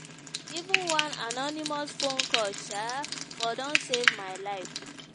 even one anonymous phone call um for don save my life.